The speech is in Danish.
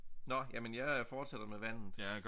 Nåh jamen jeg fortsætter med vandet